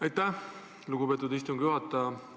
Aitäh, lugupeetud istungi juhataja!